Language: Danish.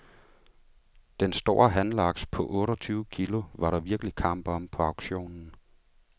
Den store hanlaks på otteogtyve kilo var der virkelig kamp om på auktionen.